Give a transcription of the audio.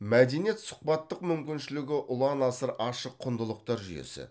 мәдениет сұхбаттық мүмкіншілігі ұлан асыр ашық құндылықтар жүйесі